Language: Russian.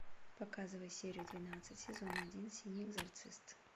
показывай серию двенадцать сезона один синий экзорцист